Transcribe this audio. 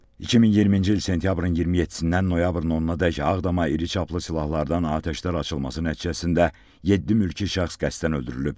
2020-ci il sentyabrın 27-dən noyabrın 10-adək Ağdama iri çaplı silahlardan atəşlər açılması nəticəsində yeddi mülki şəxs qəsdən öldürülüb.